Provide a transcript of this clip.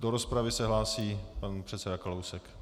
Do rozpravy se hlásí pan předseda Kalousek.